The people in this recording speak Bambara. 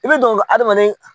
I bi don ka adamaden